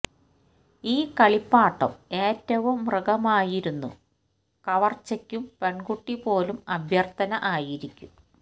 ഈ കളിപ്പാട്ടം ഏറ്റവും മൃഗമായിരുന്നു കവർച്ചെക്കും പെൺകുട്ടി പോലും അഭ്യർത്ഥന ആയിരിക്കും